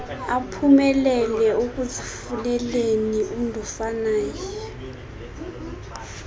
aphumelele ekuzifuneleni undofanaye